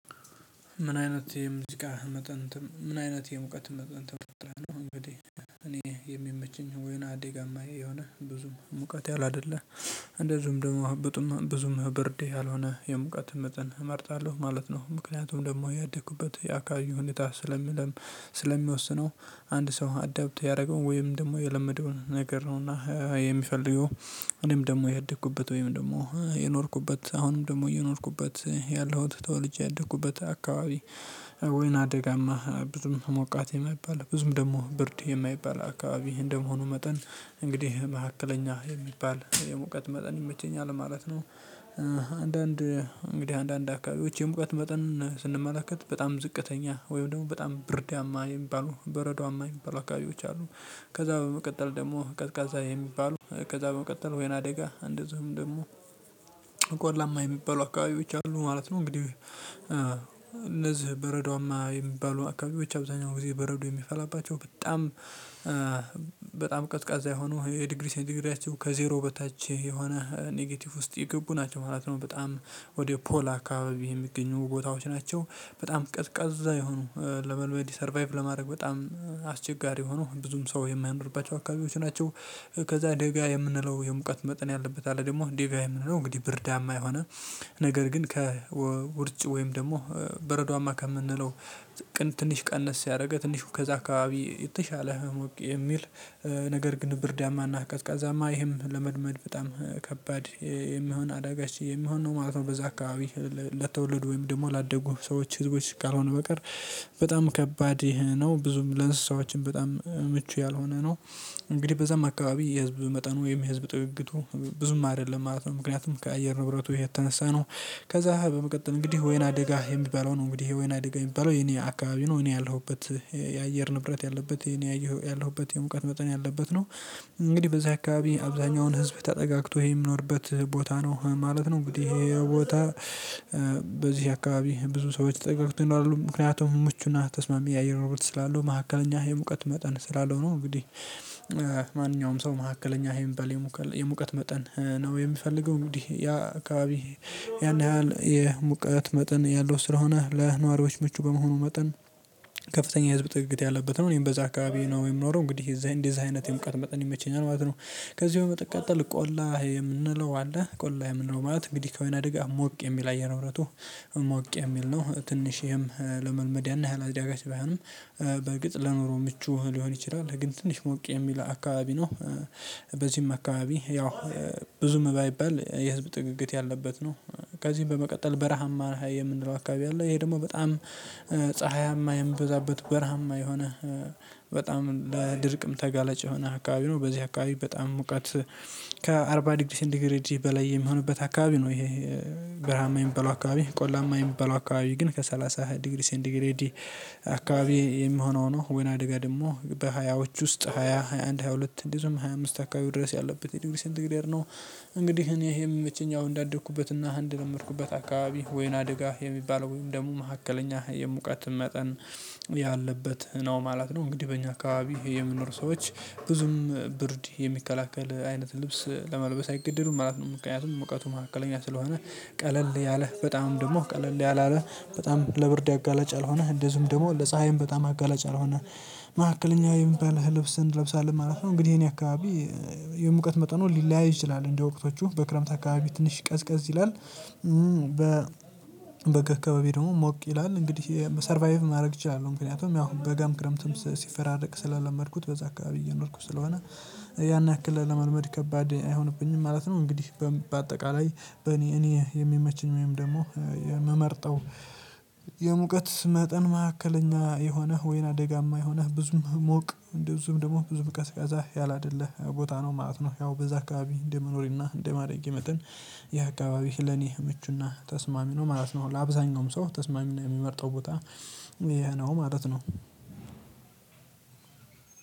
ምን አይነት የሙዚቃ መጠን ምን አይነት የሙቀት መጠን ተፈጠረ ነው? እንግዲህ እኔ የሚመችኝ ወይና ደጋማ የሆነ ብዙም ሙቀት ያለ አይደለ። እንደዚሁም ደግሞ ብጡም ብዙም ብርድ ያልሆነ የሙቀት መጠን እመርጣለሁ ማለት ነው። ምክንያቱም ደግሞ ያደኩበት ያካባቢው ሁኔታ ስለሚወስነው አንድ ሰው አዳብት ያደረገውን ወይም ደግሞ የለመደውን ነገር ነው። እና የሚፈልገው እኔም ደግሞ ያደኩበት ወይም ደግሞ የኖርኩበት አሁንም ደግሞ እየኖርኩበት ያለሁት ተወልጄ ያደኩበት አካባቢ። ወይና አደጋማ ብዙም ሞቃት የማይባል ብዙም ደግሞ ብርድ የማይባል አካባቢ እንደመሆኑ መጠን እንግዲህ መካከለኛ የሚባል የሙቀት መጠን ይመቸኛል ማለት ነው። አንዳንድ እንግዲህ አንዳንድ አካባቢዎች የሙቀት መጠን ስንመለከት በጣም ዝቅተኛ ወይም ደግሞ በጣም ብርዳማ የሚባሉ በረዶአማ የሚባሉ አካባቢዎች አሉ። ከዛ በመቀጠል ደግሞ ቀዝቃዛ የሚባሉ ከዛ በመቀጠል ወይና ደጋ እንደዚሁም ደግሞ ቆላማ የሚባሉ አካባቢዎች አሉ ማለት ነው። እንግዲህ እነዚህ በረዶአማ የሚባሉ አካባቢዎች አብዛኛው ጊዜ በረዶ የሚፈላባቸው በጣም በጣም ቀዝቃዛ የሆኑ የዲግሪ ሴንትግሬዳቸው ከዜሮ በታች የሆነ ኔጌቲቭ ውስጥ የገቡ ናቸው ማለት ነው በጣም ወደ ፖል አካባቢ የሚገኙ ቦታዎች ናቸው በጣም ቀዝቃዛ የሆኑ ለመልመድ ሰርቫይቭ ለማድረግ በጣም አስቸጋሪ የሆኑ ብዙም ሰው የማያኖርባቸው አካባቢዎች ናቸው። ከዛ ደጋ የምንለው የሙቀት መጠን ያለበት አለ ደግሞ ደጋ የምንለው እንግዲህ ብርዳማ የሆነ ነገር ግን ከውርጭ ወይም ደግሞ በረዶአማ ከምንለው ቅን ትንሽ ቀነስ ያደረገ ትንሽ ከዛ አካባቢ የተሻለ ህሞቅ የሚል ነገር ግን ብርዳማ እና ቀዝቃዛማ ይህም ለመልመድ በጣም ከባድ የሚሆን አዳጋች የሚሆን ነው ማለት ነው። በዛ አካባቢ ለተወለዱ ወይም ደግሞ ላደጉ ሰዎች ህዝቦች ካልሆነ በቀር በጣም ከባድ ነው ብዙም ለእንስሳዎችም በጣም ምቹ ያልሆነ ነው። እንግዲህ በዛም አካባቢ የህዝብ መጠኑ የህዝብ ጥግግቱ ብዙም አይደለም ማለት ነው ምክንያቱም ከአየር ንብረቱ የተነሳ ነው። ከዛ በመቀጠል እንግዲህ ወይና አደጋ የሚባለው ነው እንግዲህ ወይና አደጋ የሚባለው የኔ አካባቢ ነው እኔ ያለሁበት የአየር ንብረት ያለበት የኔ ያለሁበት የሙቀት መጠን ያለበት ነው። እንግዲህ በዚህ አካባቢ አብዛኛውን ህዝብ ተጠጋግቶ የሚኖርበት ቦታ ነው ማለት ነው እንግዲህ ይሄ ቦታ በዚህ አካባቢ ብዙ ሰዎች ተጠጋግተው ይኖራሉ ምክንያቱም ምቹ እና ተስማሚ የአየር ንብረት ስላለው መካከለኛ የሙቀት መጠን ስላለው ነው። እንግዲህ ማንኛውም ሰው መካከለኛ የሚባል የሙቀት መጠን ነው የሚፈልገው እንግዲህ ያ አካባቢ ያን ያህል የሙቀት መጠን ያለው ስለሆነ ለነዋሪዎች ምቹ በመሆኑ መጠን ከፍተኛ የህዝብ ጥግግት ያለበት ነው እኔም በዛ አካባቢ ነው የምኖረው እንግዲህ እንደዚህ አይነት የሙቀት መጠን ይመቸኛል ማለት ነው። ከዚህ በመቀጠል ቆላ የምንለው አለ ቆላ የምንለው ማለት እንግዲህ ከወይና ደጋ ሞቅ የሚል አየር ንብረቱ ሞቅ የሚል ነው ትንሽም ለመልመድ ያን ያህል አዳጋች ባይሆንም በእርግጥ ለኖሮ ምቹ ሊሆን ይችላል ግን ትንሽ ሞቅ የሚል አካባቢ ነው። በዚህም አካባቢ ያው ብዙም ባይባል የህዝብ ጥግግት ያለበት ነው። ከዚህም በመቀጠል በረሃማ ላይ የምንለው አካባቢ አለ ይሄ ደግሞ በጣም ፀሀያማ የሚበዛበት በረሃማ የሆነ በጣም ለድርቅም ተጋለጭ የሆነ አካባቢ ነው በዚህ አካባቢ በጣም ሙቀት ከአርባ ዲግሪ ሴንቲግሬድ በላይ የሚሆንበት አካባቢ ነው ይሄ በረሃማ የሚባለው አካባቢ ቆላማ የሚበላው አካባቢ ግን ከሰላሳ ዲግሪ ሲንቲግሬድ አካባቢ የሚሆነው ነው። ወይና አደጋ ደግሞ በሃያዎቹ ውስጥ ሃያ ሃያ አንድ ሃያ ሁለት እንደዚሁም ሃያ አምስት አካባቢ ድረስ ያለበት የዲግሪ ሴንቲግሬድ ነው። እንግዲህ እኔ የሚመቸኝ እንዳደኩበት እና አንድ ለመድኩበት አካባቢ ወይና አደጋ የሚባለው ወይም ደሞ መካከለኛ የሙቀት መጠን ያለበት ነው ማለት ነው። እንግዲህ በእኛ አካባቢ የሚኖር ሰዎች ብዙም ብርድ የሚከላከል አይነት ልብስ ለመልበስ አይገደዱም ማለት ነው ምክንያቱም ሙቀቱ ማዕከለኛ ስለሆነ ቀለል ያለ በጣም ደግሞ ቀለል ያላለ በጣም ለብርድ አጋላጭ ያልሆነ እንደዚሁም ደግሞ ለፀሀይም በጣም አጋላጭ ያልሆነ መሃከለኛ የሚባል ልብስ እንለብሳለን ማለት ነው። እንግዲህ የኔ አካባቢ የሙቀት መጠኑ ሊለያይ ይችላል እንደ ወቅቶቹ በክረምት አካባቢ ትንሽ ቀዝቀዝ ይላል። በ በጋ አካባቢ ደግሞ ሞቅ ይላል እንግዲህ ሰርቫይቭ ማድረግ እችላለሁ ምክንያቱም ያው በጋም ክረምትም ሲፈራረቅ ስለለመድኩት በዛ አካባቢ እየኖርኩ ስለሆነ ያን ያክል ለመልመድ ከባድ አይሆንብኝም ማለት ነው። እንግዲህ በአጠቃላይ በእኔ እኔ የሚመችኝ ወይም ደግሞ የምመርጠው የሙቀት መጠን ማዕከለኛ የሆነህ ወይና ደጋማ የሆነህ ብዙም ሞቅ እንደዚሁም ደግሞ ብዙም ቀዝቃዛ ያላደለ ቦታ ነው ማለት ነው። ያው በዛ አካባቢ እንደ መኖሬ እና እንደ ማደጌ መጠን ያ አካባቢህ ለኔ ምቹ እና ተስማሚ ነው ማለት ነው። ለአብዛኛውም ሰው ተስማሚ ነው የሚመርጠው ቦታ ይሄ ነው ማለት ነው።